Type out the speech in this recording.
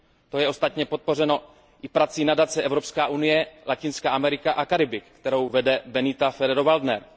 To je ostatně podpořeno i prací Nadace Evropská unie Latinská Amerika a Karibik, kterou vede Benita Ferrero Waldnerová.